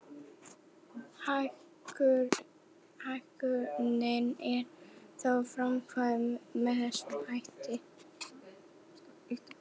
Hækkunin er þá framkvæmd með þessum hætti.